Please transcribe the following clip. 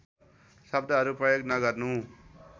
शब्दहरू प्रयोग नगर्नु